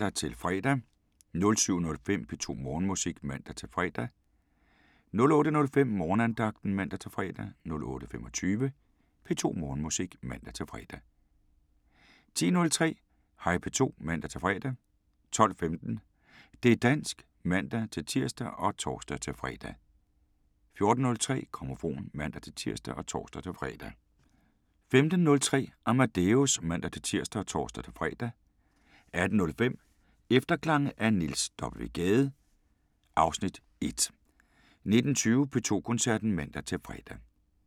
06:05: Grammofon (man-fre) 07:05: P2 Morgenmusik (man-fre) 08:05: Morgenandagten (man-fre) 08:25: P2 Morgenmusik (man-fre) 10:03: Hej P2 (man-fre) 12:15: Det´ dansk (man-tir og tor-fre) 14:03: Grammofon (man-tir og tor-fre) 15:03: Amadeus (man-tir og tor-fre) 18:05: Efterklange af Niels W. Gade (Afs. 1) 19:20: P2 Koncerten (man-fre)